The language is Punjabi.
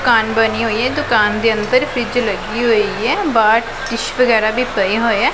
। ਦੁਕਾਨ ਬਨੀਂ ਹੋਇਆ ਦੁਕਾਨ ਦੇ ਅੰਦਰ ਫਰਿੱਜ ਲੱਗੀ ਹੋਈਆ ਬਾਹਰ ਡਿਸ਼ ਵਗੈਰਾ ਵੀ ਪਏ ਹੋਏ ਹੈਂ।